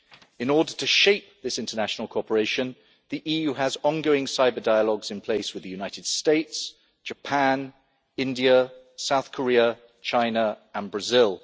In order to shape this international cooperation, the EU has ongoing cyber dialogues in place with the United States, Japan, India, South Korea, China and Brazil.